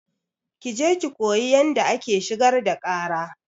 Ki je ki koyi yanda ake shigar da ƙara!